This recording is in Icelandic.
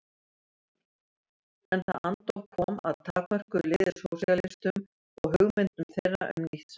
En það andóf kom að takmörkuðu liði sósíalistum og hugmyndum þeirra um nýtt samfélag.